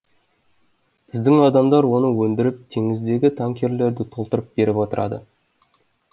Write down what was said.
біздің адамдар оны өндіріп теңіздегі танкерлерді толтырып беріп отырады